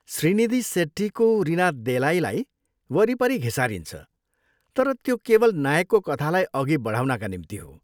श्रीनिधी सेट्टीको रिना देलाईलाई वरिपरि घिसारिन्छ तर त्यो केवल नायकको कथालाई अघि बढाउनका निम्ति हो।